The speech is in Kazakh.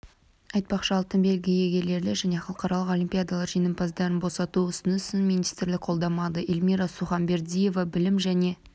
айтпақшы алтын белгі иегерлері және халықаралық олимпиадалар жеңімпаздарын босату ұсынысын министрлік қолдамады эльмира суханбердиева білім және